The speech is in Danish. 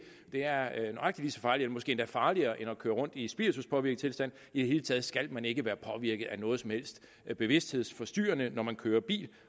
det er nøjagtig lige så farligt og måske endda farligere end at køre rundt i spirituspåvirket tilstand i det hele taget skal man ikke være påvirket af noget som helst bevidsthedsforstyrrende når man kører bil